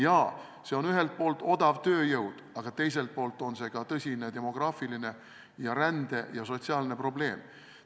Jaa, see on ühelt poolt odav tööjõud, aga teiselt poolt on see ka tõsine demograafiline, rände- ja sotsiaalne probleem.